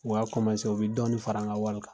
O y'a u bɛ dɔɔni fara n ka wari kan.